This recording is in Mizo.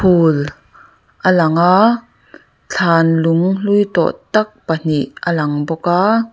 phul a lang a thlan lung hlui tawh tak pahnih a lang bawk a.